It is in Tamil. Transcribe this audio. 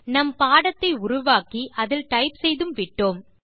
நம் பாடத்தை உருவாக்கி அதில் டைப் செய்தும் விட்டோம்